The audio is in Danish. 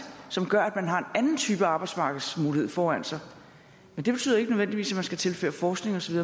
som gør at man har en anden type arbejdsmarkedsmulighed foran sig det betyder ikke nødvendigvis at man skal tilføre forskning osv